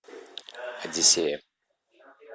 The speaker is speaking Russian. одиссея